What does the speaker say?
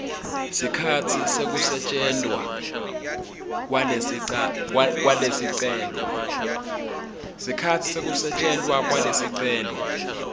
sikhatsi sekusetjentwa kwalesicelo